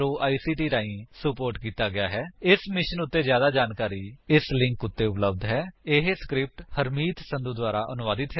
ਇਸ ਮਿਸ਼ਨ ਉੱਤੇ ਜਿਆਦਾ ਜਾਣਕਾਰੀ spoken hyphen tutorial dot org slash NMEICT hyphen intro ਉੱਤੇ ਉਪਲੱਬਧ ਹੈ ਇਹ ਸਕਰਿਪਟ ਹਰਮੀਤ ਸੰਧੂ ਦੁਆਰਾ ਅਨੁਵਾਦਿਤ ਹੈ